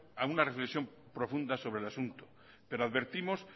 a una reflexión profunda sobre el asunto pero advertimos